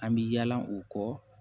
An bɛ yala o kɔ